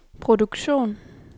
produktion